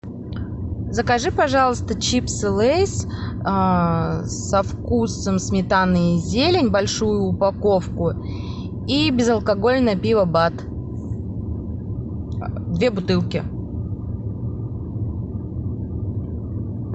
закажи пожалуйста чипсы лейс со вкусом сметаны и зелень большую упаковку и безалкогольное пиво бад две бутылки